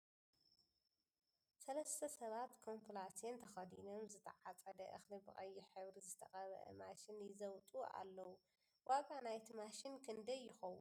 ሰለስተ ሰባት ኮምብላስየን ተከዲኖም ዝትዓፀደ እክሊ ብ ቀይሕ ሕብሪ ዝትቀበአ ማሽን ይዘብጥ ኣሎዉ ። ዋጋ ናይቲ ማሽን ክንደይ ይከውን ?